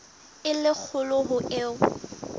e le kgolo ho eo